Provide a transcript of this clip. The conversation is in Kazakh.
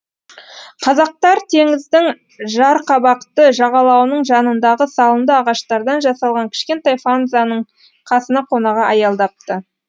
казактар теңіздің жарқабақты жағалауының жанындағы салынды ағаштардан жасалған кішкентай фанзаның қасына қонаға аялдапты